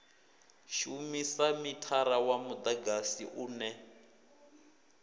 shumisa mithara wa mudagasi une